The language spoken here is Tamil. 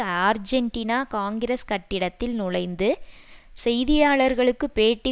ஆர்ஜென்டினா காங்கிரஸ் கட்டிடத்தில் நுழைந்து செய்தியாளர்களுக்கு பேட்டி